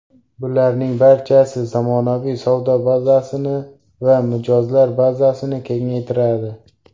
Bularning barchasi zamonaviy savdo bazasini va mijozlar bazasini kengaytiradi.